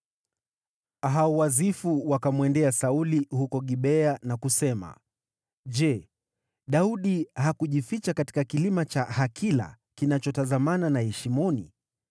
Hao Wazifu wakamwendea Sauli huko Gibea na kusema, “Je, Daudi hakujificha katika kilima cha Hakila, kinachotazamana na Yeshimoni?”